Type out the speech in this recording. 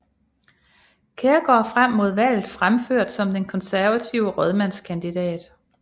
Kjærgaard frem mod valget fremført som den konservative rådmandskandidat